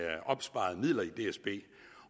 opsparede midler i dsb